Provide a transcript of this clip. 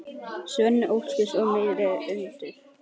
Sveini óhugnað og megna andúð.